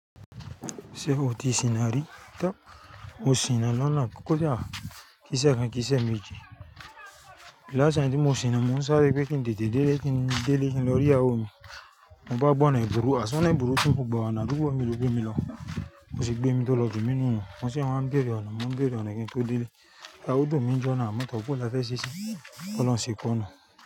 Ṣé o ti sìnà rí? Mò sìnà loná kódà tí a kì í sẹ̀ ẹ́ kí ì sẹ̀ méjì. Lás taim tí mo sìnà, mo ń sáré pé kí n dìde dédé kí n dé lè kí n lọ rí àwọn mi. Mo bá gba ọ̀nà ebùru, àṣọ ọ̀nà ebùru tí ń mọ̀gbà wa nà rúbọ mi ló gbé mi lọ. Kò sì gbé mi tó lọ gbé mi nínú òòrùn. Wọ́n sì wá ń béèrè ọ̀nà, mo ń béèrè ọ̀nà kí n tó dé lè. Laú dọ̀ mí ń jọ́na, mo tọ́kù lọ sẹ́ sẹ́ sẹ́, ó lọ ń ṣe kùnà.